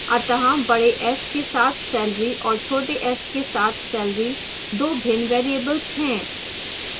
अतः बड़े s के साथ salary और छोटे s के साथ salary दो भिन्न variables हैं